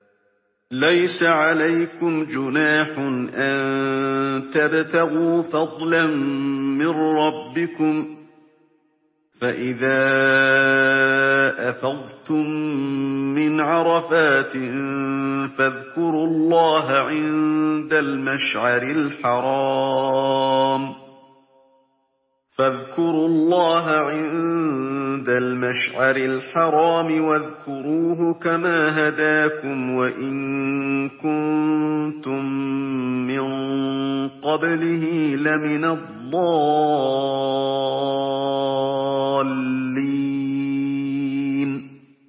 لَيْسَ عَلَيْكُمْ جُنَاحٌ أَن تَبْتَغُوا فَضْلًا مِّن رَّبِّكُمْ ۚ فَإِذَا أَفَضْتُم مِّنْ عَرَفَاتٍ فَاذْكُرُوا اللَّهَ عِندَ الْمَشْعَرِ الْحَرَامِ ۖ وَاذْكُرُوهُ كَمَا هَدَاكُمْ وَإِن كُنتُم مِّن قَبْلِهِ لَمِنَ الضَّالِّينَ